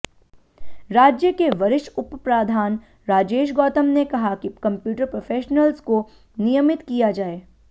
राज्य के वरिष्ठ उपप्रधान राजेश गौतम ने कहा कि कंप्यूटर प्रोफेशनलज को नियमित किया जाए